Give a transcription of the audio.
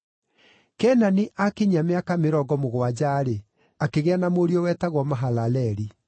Kenani aakinyia mĩaka mĩrongo mũgwanja-rĩ, akĩgĩa na mũriũ wetagwo Mahalaleli.